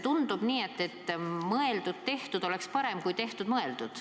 Tundub nii, et mõeldud-tehtud on ikka parem kui tehtud-mõeldud.